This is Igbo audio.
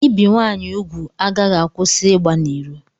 Ibi nwaanyị ugwu agaghị akwụsị ịgba n'iro.